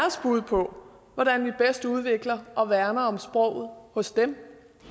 bud på hvordan vi bedst udvikler og værner om sproget hos dem